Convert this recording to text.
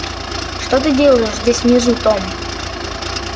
что ты делаешь здесь внизу том